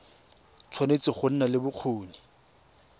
tshwanetse go nna le bokgoni